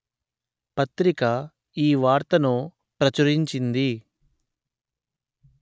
పత్రిక ఈ వార్తను ప్రచురించింది